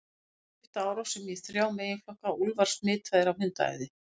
Þeir skipta árásunum í þrjá meginflokka: Úlfar smitaðir af hundaæði.